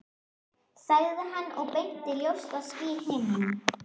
sagði hann og benti á ljóst ský á himninum.